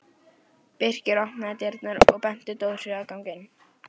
Birkir opnaði dyrnar og benti Dóru að ganga inn.